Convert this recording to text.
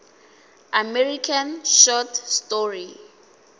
american short story